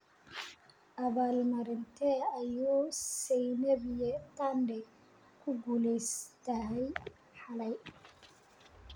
Abaalmarintee ayuu sanaipei tande ku guuleystay xalay?